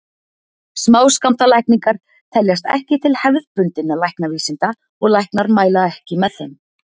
Smáskammtalækningar teljast ekki til hefðbundinna læknavísinda og læknar mæla ekki með þeim.